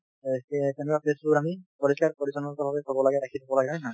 অ তে তেনেকুৱা place বোৰ আমি পৰিষ্কাৰ পৰিচন্ন থব লাগে ৰাখি থব লাগে , হয় নে নহয়।